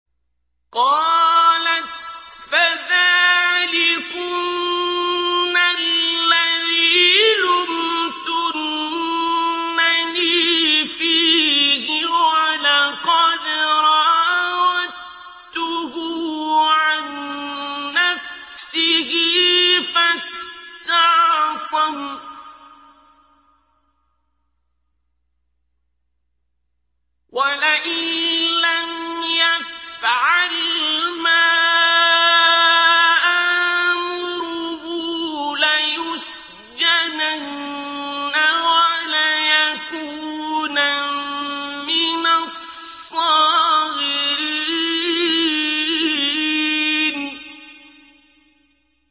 قَالَتْ فَذَٰلِكُنَّ الَّذِي لُمْتُنَّنِي فِيهِ ۖ وَلَقَدْ رَاوَدتُّهُ عَن نَّفْسِهِ فَاسْتَعْصَمَ ۖ وَلَئِن لَّمْ يَفْعَلْ مَا آمُرُهُ لَيُسْجَنَنَّ وَلَيَكُونًا مِّنَ الصَّاغِرِينَ